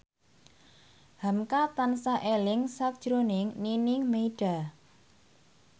hamka tansah eling sakjroning Nining Meida